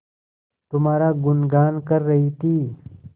तुम्हारा गुनगान कर रही थी